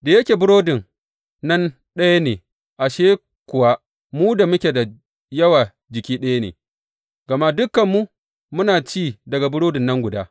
Da yake burodin nan ɗaya ne, ashe kuwa, mu da muke da yawa jiki ɗaya ne, gama dukanmu muna ci daga burodi nan guda.